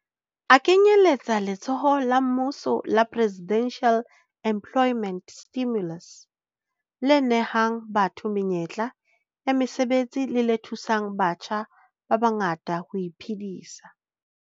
A kenyeletsa letsholo la mmuso la Presidential Employment Stimulus le nehang batho menyetla ya mosebetsi le le thusang batjha ba bangata ho iphedisa.